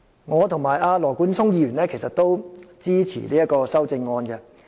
我與羅冠聰議員均支持這項修正案。